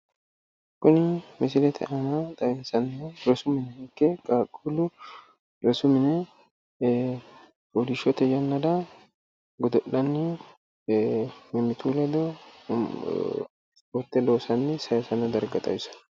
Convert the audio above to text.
Kuni misilete aana xawinsannihu rosu mine ikke qaqquullu fano yannansanni mimmitu ledo godo'lanni noota xawissanno